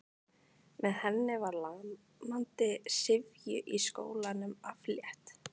Með henni var lamandi syfju í skólanum aflétt.